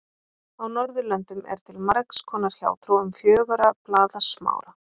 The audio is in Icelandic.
Á Norðurlöndum er til margs konar hjátrú um fjögurra blaða smára.